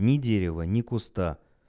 ни дерева ни куста